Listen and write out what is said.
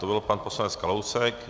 To byl pan poslanec Kalousek.